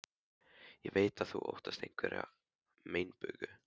Ég veit að þú óttast einhverja meinbugi.